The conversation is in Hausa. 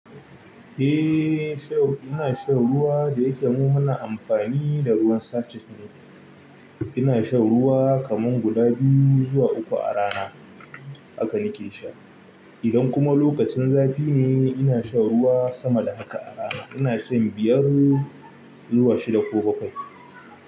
Eh, sha ina shan ruwa da yake mun hana amfani da ruwan sachet ne. Ina shan ruwa kaman guda biyu zuwa uku a rana haka nake sha. Idan kuma lokacin zafi ne, ina shan ruwa sama da haka a rana. Ina shan biyar zuwa shida ko bakwai.